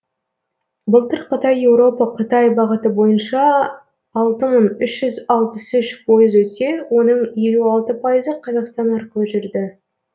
былтыр қытай еуропа қытай бағыты бойынша алты мың үш жүз алпыс үш пойыз өтсе оның елу алты пайызы қазақстан арқылы жүрді